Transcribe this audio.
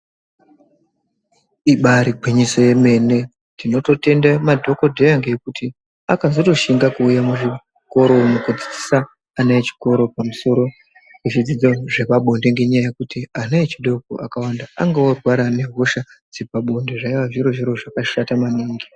Ibaari gwinyiso yomene. Tinototenda madhokodheya ngekuti akatozoshinga kuuya muzvikoro, kudzidzisa ana echikoro pamusoro pezvidzidzo zvepabonde, ngenyaya yekuti ana echikora akawanda ,enge ave kurwara nehosha dzepabonde, zvaive zviro zvakashata maningi.